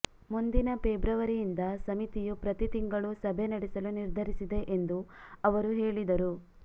ಮುಂದಿನ ಫೆಬ್ರುವರಿಯಿಂದ ಸಮಿತಿಯು ಪ್ರತಿ ತಿಂಗಳೂ ಸಭೆ ನಡೆಸಲು ನಿರ್ಧರಿಸಿದೆ ಎಂದು ಅವರು ಹೇಳಿದರು